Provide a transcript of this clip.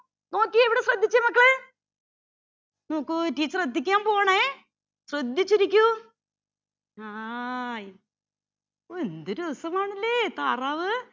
നോക്കിയേ ഇവിടെ ശ്രദ്ധിച്ചേ മക്കളെ നോക്കൂ teacher എത്തിക്കാൻ പോവുവാണേ ശ്രദ്ധിച്ചിരിക്കൂ ആ ഒ എന്ത് രാസമാണല്ലേ താറാവ്